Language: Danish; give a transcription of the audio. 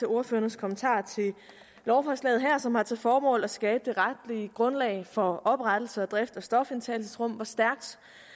ordførernes kommentarer til lovforslaget her som har til formål at skabe det retlige grundlag for oprettelse og drift af stofindtagelsesrum hvor stærkt